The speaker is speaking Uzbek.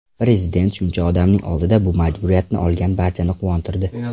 Prezident shuncha odamning oldida bu majburiyatni olgani barchani quvontirdi.